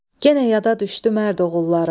Genə yada düşdü mərd oğullarım.